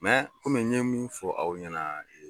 komi n ye min fɔ aw ɲɛna ye